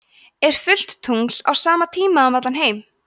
er fullt tungl á sama tíma um allan heim